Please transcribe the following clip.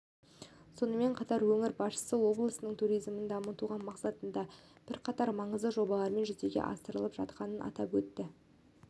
сонымен қатар өңір басшысы облыстың туризмін дамыту мақсатында бірқатар маңызды жобалардың жүзеге асырылып жатқанын атап өтті